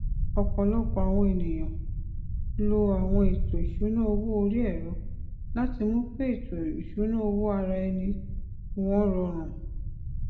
ọpọlọpọ àwọn ènìyàn lo àwọn ètò ìsúná owó orí ẹrọ láti mú kí ètò ìsúná owó ara ẹni wọn rọrùn